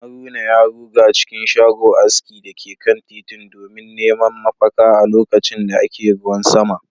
haruna ya ruga cikin shago aski da ke kan titin domin neman mafaka a lokacin da ake ruwan sama